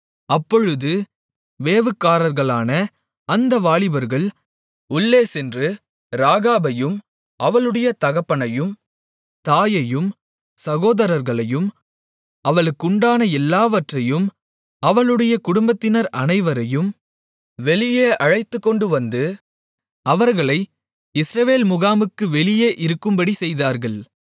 அப்பொழுது வேவுகாரர்களான அந்த வாலிபர்கள் உள்ளே சென்று ராகாபையும் அவளுடைய தகப்பனையும் தாயையும் சகோதரர்களையும் அவளுக்குண்டான எல்லாவற்றையும் அவளுடைய குடும்பத்தினர் அனைவரையும் வெளியே அழைத்துக்கொண்டுவந்து அவர்களை இஸ்ரவேல் முகாமுக்கு வெளியே இருக்கும்படி செய்தார்கள்